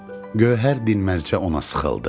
Gövhər dinməzcə ona sıxıldı.